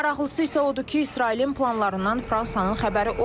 Maraqlısı isə odur ki, İsrailin planlarından Fransanın xəbəri olmayıb.